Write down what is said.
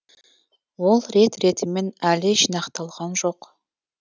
ол рет ретімен әлі жинақталған жоқ